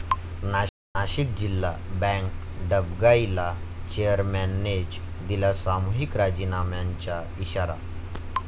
नाशिक जिल्हा बँक डबघाईला, चेअरमननेच दिला सामूहिक राजीनाम्यांचा इशारा